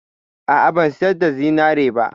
A'a, ban sayar da zinarina ba.